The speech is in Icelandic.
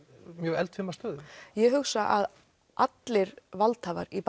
mjög eldfima stöðu ég hugsa að allir valdhafar í